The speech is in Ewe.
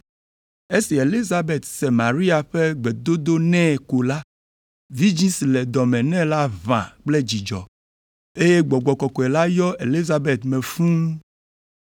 Esi Elizabet se Maria ƒe gbedodo nɛ ko la, vidzĩ si le dɔ me nɛ la ʋã kple dzidzɔ, eye Gbɔgbɔ Kɔkɔe la yɔ Elizabet me fũu.